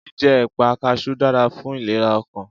Jíjẹ́ èpà kaṣú dára fún ìlera ọkàn